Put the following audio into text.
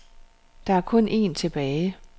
Der er kun en tilbage.